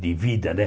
de vida, né?